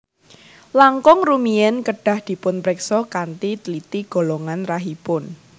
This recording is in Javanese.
Langkung rumiyin kedah dipunpriksa kanthi tliti golongan rahipun